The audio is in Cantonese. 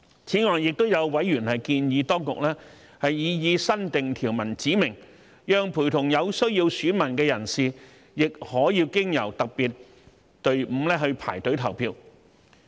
此外，也有委員建議當局在擬議新訂條文中指明，讓陪同有需要選民的人士亦可經由特別隊伍排隊投票。